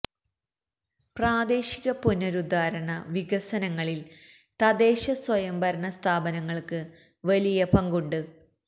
പ്രാദേശിക പുനരുദ്ധാരണ വികസനങ്ങളിൽ തദ്ദേശ സ്വയം ഭരണ സ്ഥാപനങ്ങൾക്ക് വലിയ പങ്കുണ്ട്